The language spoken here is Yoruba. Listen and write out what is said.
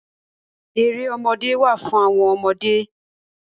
Erémọdé wá fún àwọn ọmọdé.